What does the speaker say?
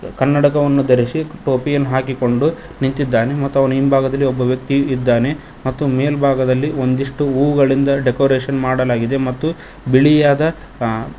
ಕನ್ನಡಕವನ್ನು ಧರಿಸಿ ಟೋಪಿಯನ್ನು ಹಾಕಿಕೊಂಡು ನಿಂತಿದ್ದಾನೆ ಮತ್ತು ಅವನ ಹಿಂಭಾಗದಲ್ಲಿ ಒಬ್ಬ ವ್ಯಕ್ತಿಯು ಇದ್ದಾನೆ ಮತ್ತು ಮೇಲ್ಭಾಗದಲ್ಲಿ ಒಂದಿಷ್ಟು ಹೂಗಳಿಂದ ಡೆಕೋರೇಷನ್ ಮಾಡಲಾಗಿದೆ ಮತ್ತು ಬಿಳಿಯಾದ ಆ--